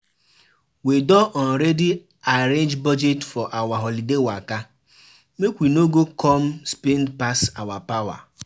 We don already arrange budget for our holiday waka, make we no go come spend pass our power.